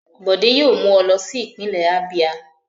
Bọ̀dé yóò mú ọ lọ sí ìpínlẹ̀ Abíà.